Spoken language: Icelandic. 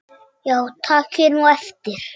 Já takið nú eftir.